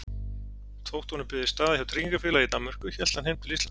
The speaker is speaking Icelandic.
Þótt honum byðist staða hjá tryggingarfélagi í Danmörku hélt hann heim til Íslands.